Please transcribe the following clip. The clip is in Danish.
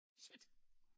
Shit